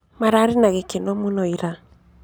Mararĩ na gĩkeno mũno ira